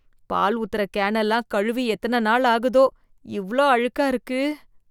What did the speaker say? பால் ஊத்தற கேன் எல்லாம் கழுவி எத்தன நாள் ஆகுதோ. இவ்ளோ அழுக்கா இருக்கு.